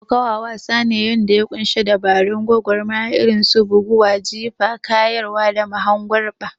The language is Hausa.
Kokawa wasa ne na faɗa wanda ya ƙunshi dabarun gwagwarmaya irin su bugu, jifa, kayarwa, da mahangurba.